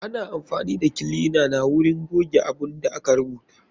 Ana amfani da kilina na wurin goge abun da aka rubuta.